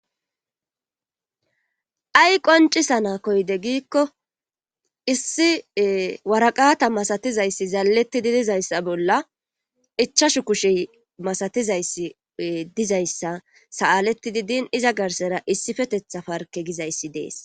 Ay qoncisana koyde giikko issi waraqata masatizayssi zaaaletidi dizayssa bolla ichashu kushey masatizayssi dizayssa sa7aleti di din iza garsera issi fetetha parke gizayssi dees.